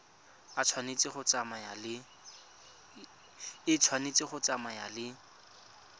e tshwanetse go tsamaya le